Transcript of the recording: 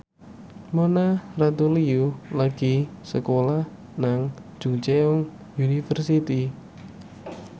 Mona Ratuliu lagi sekolah nang Chungceong University